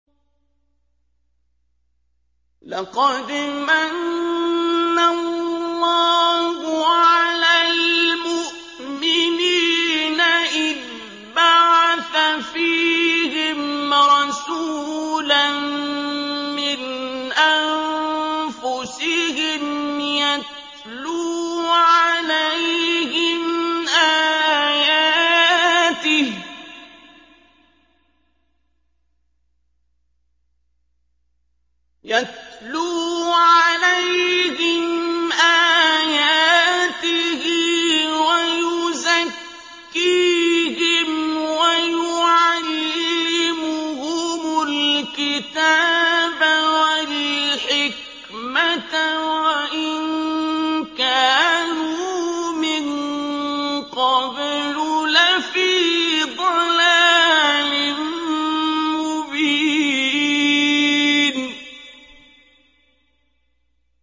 لَقَدْ مَنَّ اللَّهُ عَلَى الْمُؤْمِنِينَ إِذْ بَعَثَ فِيهِمْ رَسُولًا مِّنْ أَنفُسِهِمْ يَتْلُو عَلَيْهِمْ آيَاتِهِ وَيُزَكِّيهِمْ وَيُعَلِّمُهُمُ الْكِتَابَ وَالْحِكْمَةَ وَإِن كَانُوا مِن قَبْلُ لَفِي ضَلَالٍ مُّبِينٍ